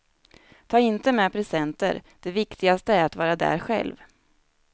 Ta inte med presenter, det viktigaste är att vara där själv.